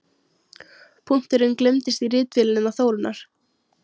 Punkturinn gleymdist í ritvélinni hennar Þórunnar.